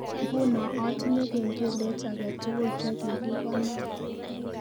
Nguno atinye kengelet age tugul chegigikonor